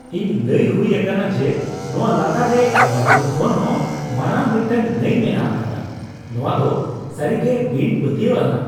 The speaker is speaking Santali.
ᱤᱧ ᱞᱟᱹᱭ ᱦᱩᱭ ᱟᱠᱟᱱᱟ ᱡᱮ ᱱᱚᱣᱟ ᱞᱟᱛᱟᱨ ᱨᱮ ᱟᱢᱟᱡᱚᱱ ᱠᱷᱚᱱ ᱦᱚᱸ ᱢᱟᱨᱟᱝ ᱢᱤᱫᱴᱟᱝ ᱱᱟᱹᱭ ᱢᱮᱱᱟᱜ ᱟᱠᱟᱫᱟ ᱾ ᱱᱚᱣᱟ ᱫᱚ ᱥᱟᱹᱨᱤᱜᱮ ᱵᱤᱱᱼᱯᱟᱹᱛᱭᱟᱹᱣ ᱟᱱᱟᱜ !